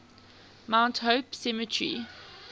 mount hope cemetery